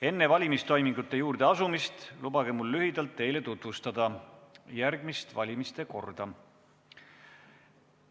Enne valimistoimingute juurde asumist lubage mul lühidalt teile tutvustada valimiste korda.